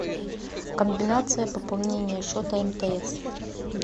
комбинация пополнения счета мтс